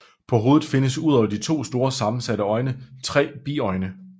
På hovedet findes udover de to store sammensatte øjne tre biøjne